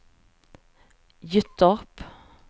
Gyttorp